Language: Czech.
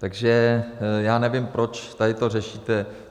Takže já nevím, proč tady to řešíte.